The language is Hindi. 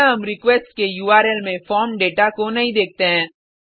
यहाँ हम रिक्वेस्ट के उर्ल में फॉर्म दाता को नहीं देखते हैं